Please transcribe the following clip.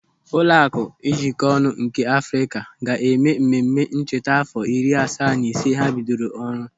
Ụlọaku Njikonu nke Afrịka ga-eme ememme ncheta àfọ iri asaa na ise ha bidoro ọrụ.